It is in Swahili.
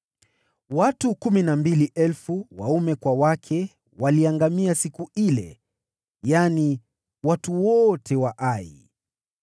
Watu kumi na mbili elfu, waume kwa wake, waliangamia siku ile, yaani watu wote wa Ai.